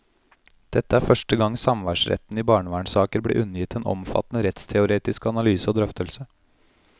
Dette er første gang samværsretten i barnevernssaker blir undergitt en omfattende rettsteoretisk analyse og drøftelse.